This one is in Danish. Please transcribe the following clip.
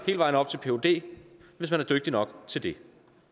vejen op til phd hvis man er dygtig nok til det